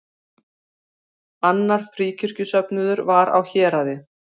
Annar fríkirkjusöfnuður var á Héraði.